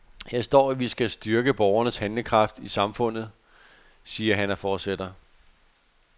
Her står, at vi skal styrke borgernes handlekraft i samfundet, siger han og fortsætter.